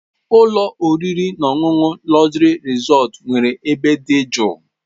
Ụlọ oriri na ọṅụṅụ Luxury Resort nwere ebe dị jụụ.